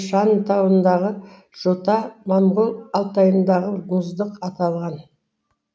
наньшань тауындағы жота моңғол алтайындағы мұздық аталған